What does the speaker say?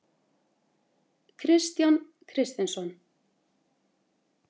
Kristján Kristinsson.